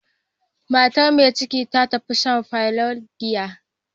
Matar mai ciki ta tafi sha a parlourn giya.